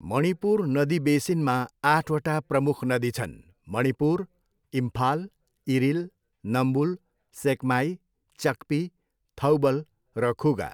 मणिपुर नदी बेसिनमा आठवटा प्रमुख नदी छन्, मणिपुर, इम्फाल, इरिल, नम्बुल, सेकमाई, चक्पी, थौबल र खुगा।